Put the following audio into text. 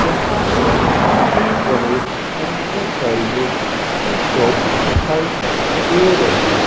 जहां पर श्री गणेश इंटरप्राइजेज की शॉप दिखाई दे रही --